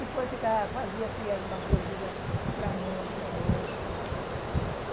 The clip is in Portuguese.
E depois fazia assim alguma coisinha para um, para outro.